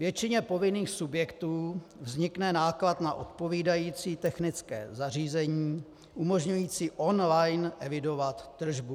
Většině povinných subjektů vznikne náklad na odpovídající technické zařízení umožňující online evidovat tržbu.